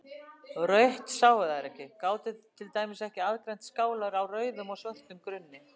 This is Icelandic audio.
Rautt sáu þær ekki, gátu til dæmis ekki aðgreint skálar á rauðum og svörtum grunni.